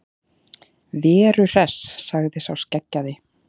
Veru Hress, sagði sá skeggjaði.